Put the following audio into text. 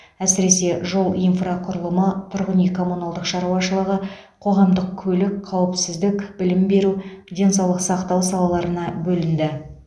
әсіресе жол инфрақұрылымы тұрғын үй коммуналдық шаруашылығы қоғамдық көлік қауіпсіздік білім беру денсаулық сақтау салаларына бөлінді